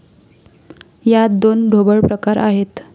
यात दोन ढोबळ प्रकार आहेत.